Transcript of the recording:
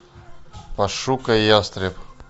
пошукай ястреб